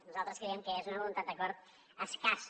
nosaltres creiem que és una voluntat d’acord escassa